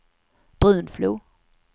Brunflo